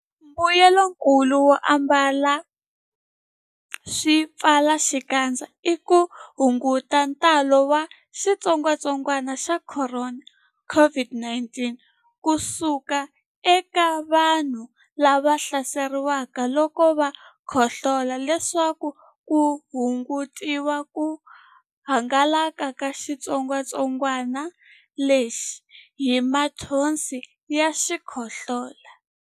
Mbuyelonkulu wo ambala swipfalaxikandza i ku hunguta ntalo wa xitsongwantsongwana xa Khorona, COVID-19 ku suka eka vanhu lava hlaseriweke loko va khohlola leswaku ku hungutiwa ku hangalaka ka xitsongwantsongwana lexi hi mathonsi ya xikhohlola.